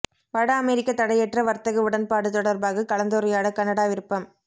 வட அமெரிக்க தடையற்ற வர்த்தக உடன்பாடு தொடர்பாக கலந்துரையாட கனடா விருப்பம்